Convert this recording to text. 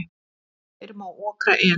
Fyrr má okra en.